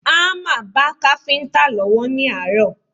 Hámà ba káfíńtà lọ́wọ́ ní àárọ̀